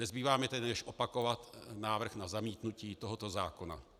Nezbývá mi tedy než opakovat návrh na zamítnutí tohoto zákona.